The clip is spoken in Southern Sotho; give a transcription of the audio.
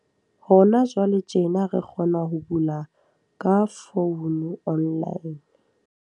Hona jwale tjena re kgona ho bula ka founu online.